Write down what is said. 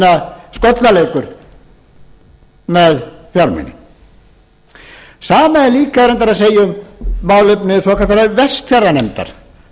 minna skollaleikur með fjármuni sama er líka reyndar að segja um málefni svokallaðrar vestfjarðanefndar